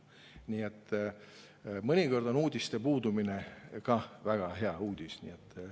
Nii et mõnikord on ka uudiste puudumine väga hea uudis.